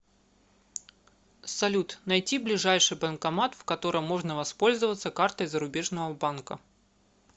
салют найти ближайший банкомат в котором можно воспользоваться картой зарубежного банка